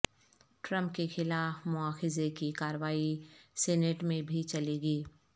Trump کیخلاف مواخذے کی کارروائی سینیٹ میں بھی چلے گی